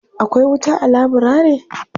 Akwai wuta a laburare?